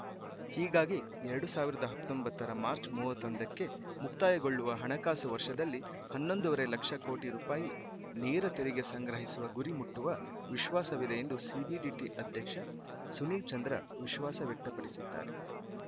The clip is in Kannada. ಹೀಗಾಗಿ ಎರಡು ಸಾವಿರದ ಹತ್ತೊಂಬತ್ತರ ಮಾರ್ಚ್ ಮೂವತ್ತೊಂದಕ್ಕೆ ಮುಕ್ತಾಯಗೊಳ್ಳುವ ಹಣಕಾಸು ವರ್ಷದಲ್ಲಿ ಹನ್ನೊಂದುವರೆ ಲಕ್ಷ ಕೋಟಿ ರೂಪಾಯಿ ನೇರ ತೆರಿಗೆ ಸಂಗ್ರಹಿಸುವ ಗುರಿ ಮುಟ್ಟುವ ವಿಶ್ವಾಸವಿದೆ ಎಂದು ಸಿಬಿಡಿಟಿ ಅಧ್ಯಕ್ಷ ಸುನಿಲ್‌ ಚಂದ್ರ ವಿಶ್ವಾಸ ವ್ಯಕ್ತಪಡಿಸಿದ್ದಾರೆ